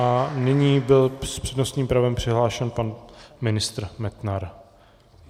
A nyní byl s přednostním právem přihlášen pan ministr Metnar.